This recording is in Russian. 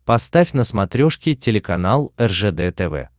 поставь на смотрешке телеканал ржд тв